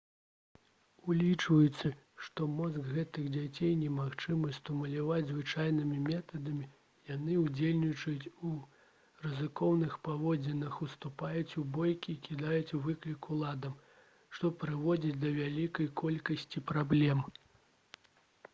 улічваючы што мозг гэтых дзяцей немагчыма стымуляваць звычайнымі метадамі яны «удзельнічаюць у рызыкоўных паводзінах уступаюць у бойкі і кідаюць выклік уладам» што прыводзіць да вялікай колькасці праблем